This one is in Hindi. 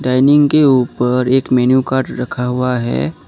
डाइनिंग के ऊपर एक मेनू कार्ड रखा हुआ है।